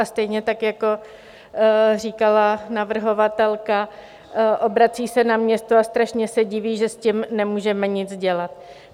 A stejně tak, jako říkala navrhovatelka, obrací se na město a strašně se diví, že s tím nemůžeme nic dělat.